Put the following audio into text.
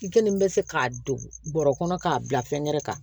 I kelen bɛ se k'a don bɔrɔ kɔnɔ k'a bila fɛnkɛrɛ kan